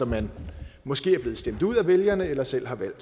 man måske er blevet stemt ud af vælgerne eller selv har valgt